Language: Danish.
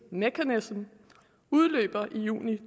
mechanism udløber i juli